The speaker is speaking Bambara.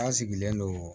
An sigilen don